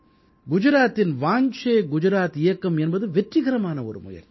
குஜராத்தின் வாஞ்சே குஜராத் இயக்கம் என்பது வெற்றிகரமான ஒரு முயற்சி